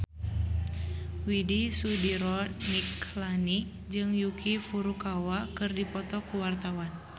Widy Soediro Nichlany jeung Yuki Furukawa keur dipoto ku wartawan